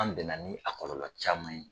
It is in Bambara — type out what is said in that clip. An bɛn na ni a kɔlɔlɔ caman ye.